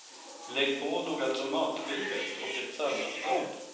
Lägg på några tomatskivor och ett salladsblad.